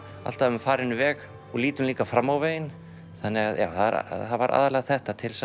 alltaf um farinn veg og lítum líka fram á veginn þannig að það var aðallega þetta til